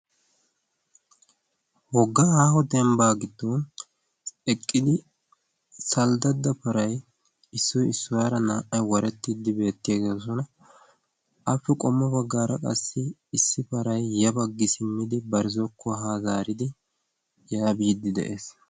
woggaa aaho dembbaa giddon eqqidi salddadda paray issoy issuwaara naa''ay warettiddi beettiyaagoosona appe qommo baggaara qassi issi paray ya baggi simmidi barzzokkuwa haa zaaridi yaa biiddi de'ees